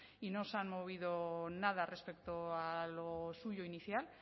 y no se han movido nada respecto a lo suyo inicial